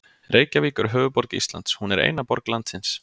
Reykjavík er höfuðborg Íslands. Hún er eina borg landsins.